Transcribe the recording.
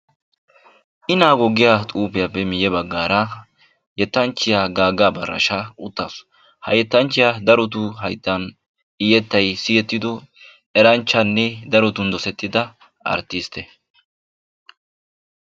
Inago giya xuufiyappe miye baggaara yettanchchiya Gaaga Abarasha uttaasu ha yettanchchiya darotu hayttan I yettay siyettiddo eranchchanne darotun dossettida arttistte.